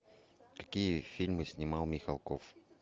какие фильмы снимал михалков